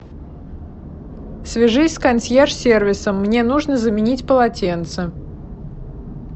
свяжись с консьерж сервисом мне нужно заменить полотенце